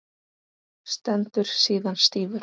Stendur síðan stífur.